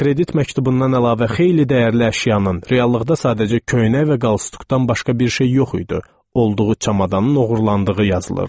Kredit məktubundan əlavə xeyli dəyərli əşyanın, reallıqda sadəcə köynək və qalstukdan başqa bir şey yox idi, olduğu çamadanın oğurlandığı yazılırdı.